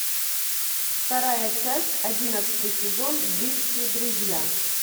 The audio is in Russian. вторая часть одиннадцатый сезон близкие друзья